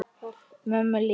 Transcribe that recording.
Mömmu líka?